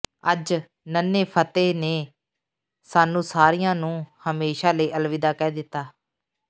ਅੱਜ ਨੰਨ੍ਹੇ ਫਤਿਹ ਨੇ ਸਾਨੂੰ ਸਾਰੀਆਂ ਨੂੰ ਹਮੇਸ਼ਾ ਲਈ ਅਲਵਿਦਾ ਕਹਿ ਦਿੱਤਾ ਹੈ